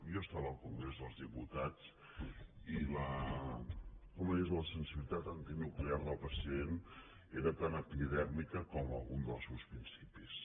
jo estava al congrés dels diputats i la sensibilitat antinuclear del president era tan epidèrmica com algun dels seus principis